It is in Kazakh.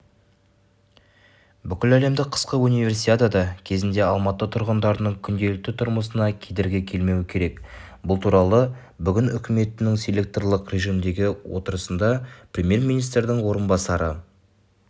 бүкіләлемдік қысқы универсиада кезінде алматы тұрғындарының күнделікті түрмысына кедергі келмеуі керек бұл туралы бүгін үкіметінің селекторлық режімдегі отырысында премьер-министрдің орынбасары